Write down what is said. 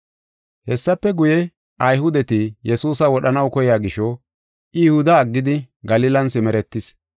Hessafe guye, Ayhudeti Yesuusa wodhanaw koyiya gisho I Yihuda aggidi Galilan simeretees.